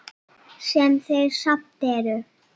Sem þeir samt eru.